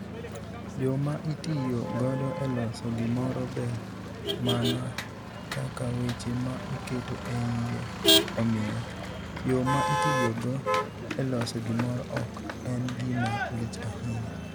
Yo ma itiyo godo e loso gimoro ber mana kaka weche ma iketo e iye omiyo, yo ma itiyogo e loso gimoro ok en gima lich ahinya.